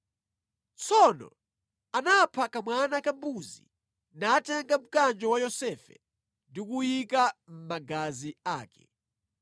Tsono anapha kamwana ka mbuzi, natenga mkanjo wa Yosefe ndi kuwunyika mʼmagazi ake.